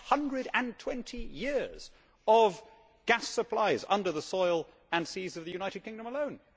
We have 120 years of gas supplies under the soil and seas of the United Kingdom alone.